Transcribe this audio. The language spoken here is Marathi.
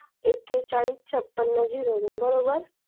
एकेचाळीस छप्पन zero तीन बरोबर